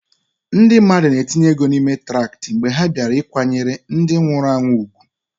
Ndị mmadụ na-etinye ego n'ime traktị mgbe ha bịara ịkwanyere ndị nwụrụ anwụ ùgwù.